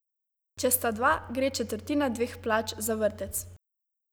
Če sta dva, gre četrtina dveh plač za vrtec.